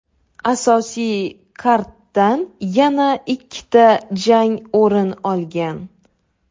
Asosiy karddan yana ikkita jang o‘rin olgan.